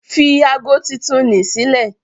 Fi ago titun ni sílẹ̀.